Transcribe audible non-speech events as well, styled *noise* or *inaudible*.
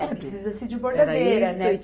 *unintelligible* Precisa-se de bordadeira, né?